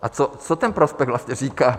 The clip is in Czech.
A co ten prospekt vlastně říká?